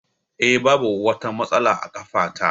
Eh, Babu wata matsala a ƙafa ta.